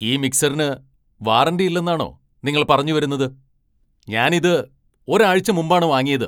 ഈ മിക്സറിന് വാറന്റി ഇല്ലെന്നാണോ നിങ്ങൾ പറഞ്ഞു വരുന്നത്? ഞാൻ ഇത് ഒരാഴ്ച മുമ്പാണ് വാങ്ങിയത്!